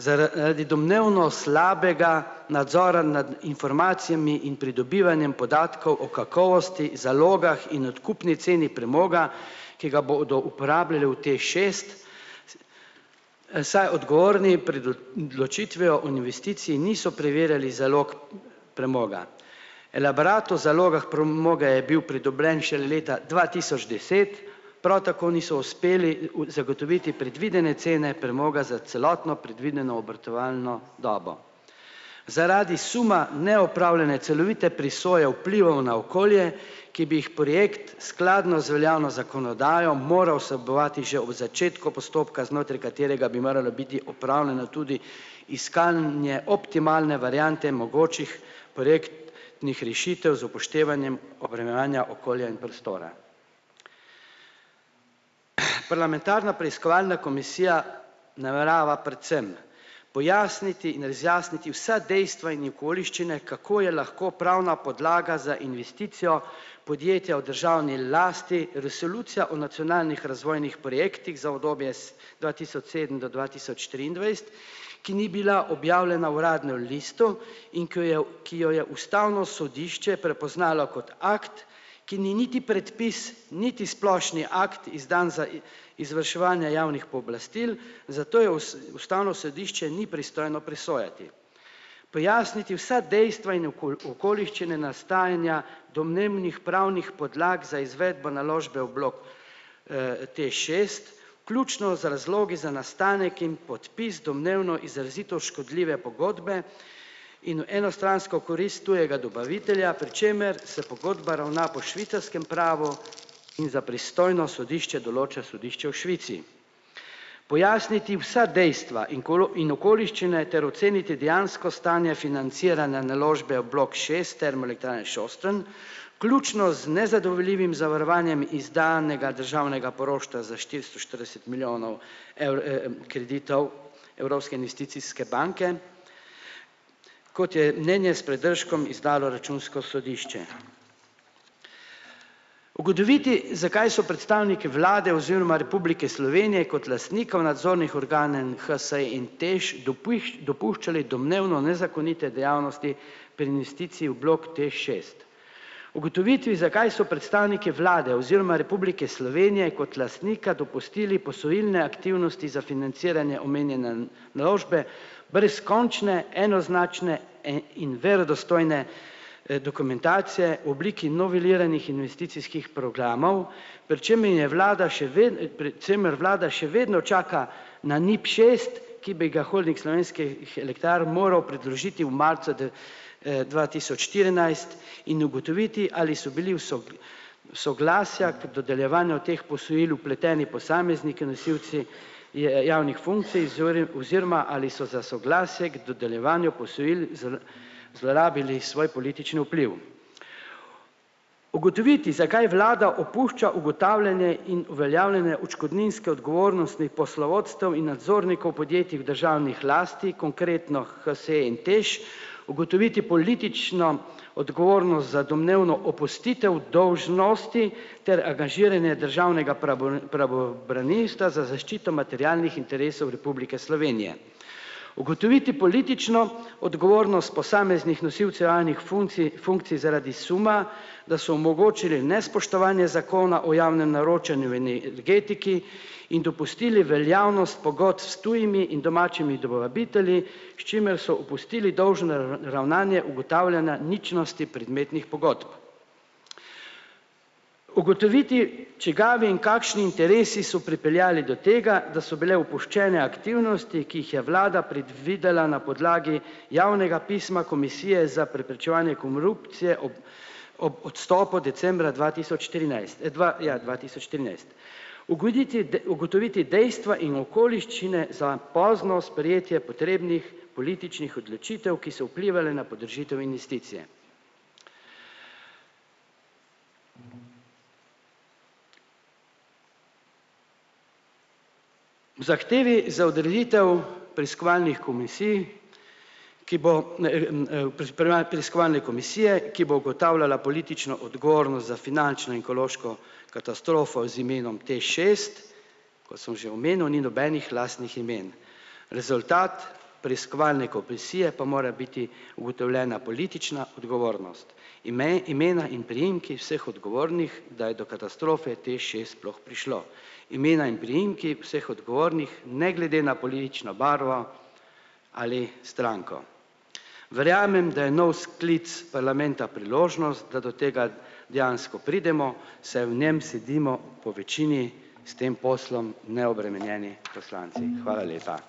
Zaradi domnevno slabega nadzora nad informacijami in pridobivanjem podatkov o kakovosti, zalogah in odkupni ceni premoga, ki ga bodo uporabljali v TEŠ šest, saj odgovorni pred odločitvijo o investiciji niso preverjali zalog premoga. Elaborat o zalogah premoga je bil pridobljen šele leta dva tisoč deset, prav tako niso uspeli v zagotoviti predvidene cene premoga za celotno predvideno obratovalno dobo. Zaradi suma neopravljanja celovite presoje vplivov na okolje, ki bi jih projekt skladno z veljavno zakonodajo moral vsebovati že v začetku postopka, znotraj katerega bi moralo biti opravljeno tudi iskanje optimalne variante mogočih projekt- nih rešitev z upoštevanjem obremenjevanja okolja in prostora. Parlamentarna preiskovalna komisija namerava predvsem pojasniti in razjasniti vsa dejstva in okoliščine, kako je lahko pravna podlaga za investicijo podjetja v državni lasti resolucija o nacionalnih razvojnih projektih za obdobje dva tisoč sedem do dva tisoč triindvajset, ki ni bila objavljena uradnem listu in ki jo je, ki jo je ustavno sodišče prepoznalo kot akt, ki ni niti predpis niti splošni akt, izdan za izvrševanje javnih pooblastil, zato je ustavno sodišče ni pristojno presojati. Pojasniti vsa dejstva in okoliščine nastajanja domnevnih pravnih podlag za izvedbo naložbe v bloku, TEŠ šest vključno z razlogi za nastanek in podpis domnevno izrazito škodljive pogodbe in v enostransko korist tujega dobavitelja, pri čemer se pogodba ravna po švicarskem pravu in za pristojno sodišče določa sodišče v Švici. Pojasniti vsa dejstva in in okoliščine ter oceniti dejansko stanje financiranja naložbe v bloku šest Termoelektrarne Šoštanj vključno z nezadovoljivim zavarovanjem izdanega državnega poroštva za štiristo štirideset milijonov kreditov Evropske investicijske banke, kot je mnenje s pridržkom izdalo računsko sodišče. Ugotoviti, zakaj so predstavniki vlade oziroma Republike Slovenije kot lastnikov nadzornih organov HSE in TEŠ dopuščali domnevno nezakonite dejavnosti pri investiciji v bloku TEŠ šest. Ugotovitvi, zakaj so predstavniki vlade oziroma Republike Slovenije kot lastnika dopustili posojilne aktivnosti za financiranje omenjene naložbe brez končne enoznačne, in verodostojne, dokumentacije v obliki noveliranih investicijskih programov, pri čemer je vlada še pred čemer vlada še vedno čaka na NIP šest, ki bi ga Holding Slovenskih elektrarn moral predložiti v marcu dva tisoč štirinajst in ugotoviti, ali so bili soglasja k dodeljevanju teh posojil vpleteni posamezniki nosilci je javnih funkcij oziroma ali so za soglasje k dodeljevanju posojil z zlorabili svoj politični vpliv. Ugotoviti, zakaj vlada opušča ugotavljanje in uveljavljanje odškodninske odgovornosti poslovodstev in nadzornikov podjetij v državnih lasti, konkretno HSE in TEŠ, ugotoviti politično odgovornost za domnevno opustitev dolžnosti ter angažiranje državnega pravobranilstva za zaščito materialnih interesov Republike Slovenije. Ugotoviti politično odgovornost posameznih nosilcev javnih funcij funkcij zaradi suma, da so omogočile nespoštovanje zakona o javnem naročanju energetiki in dopustili veljavnost pogodb s tujimi in domačimi dobavitelji, s čimer so opustili dolžno ravnanje ugotavljanja ničnosti predmetnih pogodb. Ugotoviti, čigavi in kakšni interesi so pripeljali do tega, da so bile opuščene aktivnosti, ki jih je vlada predvidela na podlagi javnega pisma komisije za preprečevanje korupcije ob ob odstopu decembra dva tisoč štirinajst, dva, ja dva tisoč trinajst. Ugoditi ugotoviti dejstva in okoliščine za pozno sprejetje potrebnih političnih odločitev, ki so vplivale na podražitev investicije. V zahtevi za odreditev preiskovalni komisiji, ki bo, preiskovalne komisije, ki bo ugotavljala politično odgovornost za finančno in ekološko katastrofo z imenom TEŠ šest, kot sem že omenil ni nobenih lastnih imen. Rezultat preiskovalne komisije pa mora biti ugotovljena politična odgovornost. imena in priimki vseh odgovornih, da je do katastrofe TEŠ šest sploh prišlo. Imena in priimki vseh odgovornih ne glede na politično barvo ali stranko. Verjamem, da je nov sklic parlamenta priložnost, da do tega dejansko pridemo, saj v njem sedimo po večini s tem poslom neobremenjeni poslanci. Hvala lepa.